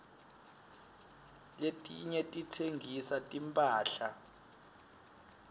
letinye titsengisa timphahla